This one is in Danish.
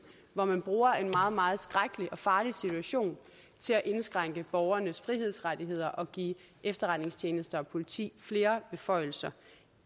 hvor man bruger en meget meget skrækkelig og farlig situation til at indskrænke borgernes frihedsrettigheder og give efterretningstjenester og politi flere beføjelser